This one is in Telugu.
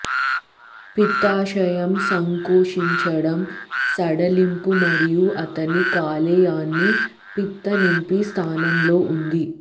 పిత్తాశయం సంకోచించడం సడలింపు మరియు అతని కాలేయాన్ని పిత్త నింపి స్థానంలో ఉంది